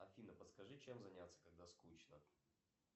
афина подскажи чем заняться когда скучно